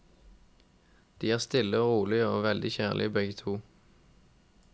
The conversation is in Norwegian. De er stille og rolige og veldig kjærlige begge to.